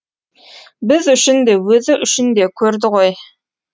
біз үшін де өзі үшін де көрді ғой